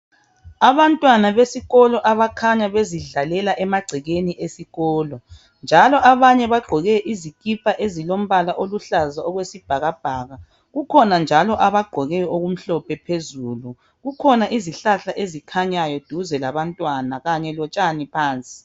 Abantwana besikolo abakhanya bezidlalela emagcekeni esikolo njalo abanye bagqoke izikipa ezilombala oluhlaza okwesibhakabhaka . Kukhona njalo abagqoke okumhlophe phezulu . Kukhona izihlahla ezikhanyayo duze labantwana kanye lotshani phansi.